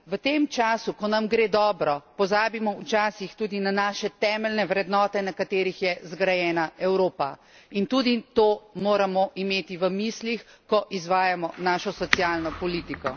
V tem času, ko nam gre dobro, pozabimo včasih tudi na naše temeljne vrednote, na katerih je zgrajena Evropa, in tudi to moramo imeti v mislih, ko izvajamo našo socialno politiko.